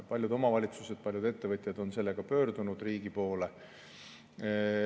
Paljud omavalitsused ja ettevõtjad on selle murega pöördunud riigi poole.